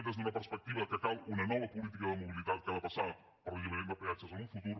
des d’una perspectiva que cal una nova política de mobilitat que ha de passar per l’alliberament de peatges en un futur